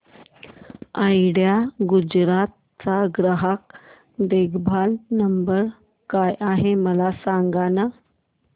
idea Gujarat चा ग्राहक देखभाल नंबर काय आहे मला सांगाना